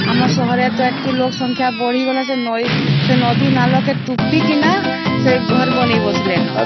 ଆମ ସାହରେ ତ ଏଠି ଲୋକ ସଂଖ୍ୟା ବଢି ଗଲନ ସେ ନଇଁ ସେ ନଦୀ ନାଳ କେ ତୁଟି କିନା ସେ ଘର ବନେଇ ବସିଲେନ